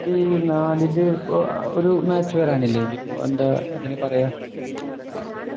ത്തി നാലില് ഇപ്പൊ ഒരു ആഹ് match വരാനില്ലേ ഇനി എന്താ അതിനു പറയുഅ